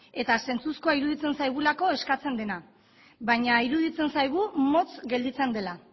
eta zentzuzkoa iruditzen zaigulako eskatzen dena baina iruditzen zaigu motz gelditzen dela